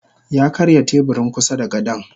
Yakarya teburin kusada gadon.